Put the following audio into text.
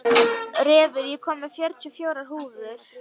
Refur, ég kom með fjörutíu og fjórar húfur!